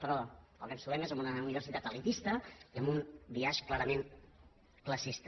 però el que ens trobem és amb una universitat elitista i amb un biaix clarament classista